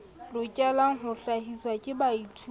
lokelang ho hlahiswa ke baithuti